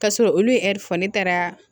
K'a sɔrɔ olu ye fɔ ne taara